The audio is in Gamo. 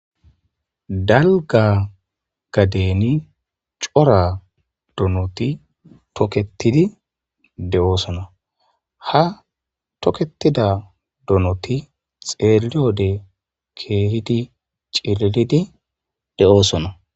Dalga gadeni cora donoti toketidi de'osona ha toketida donoti xeeliyo wode keehidi cililidi de'osona.